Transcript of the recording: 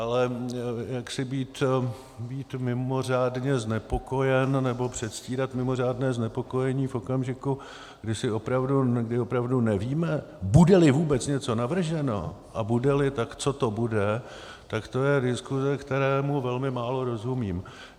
Ale jaksi být mimořádně znepokojen nebo předstírat mimořádné znepokojení v okamžiku, kdy opravdu nevíme, bude-li vůbec něco navrženo a bude-li, tak co to bude, tak to je diskuze, které velmi málo rozumím.